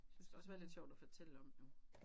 Det skal også være lidt sjovt at forælle om jo